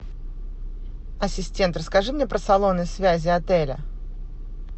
ассистент расскажи мне про салоны связи отеля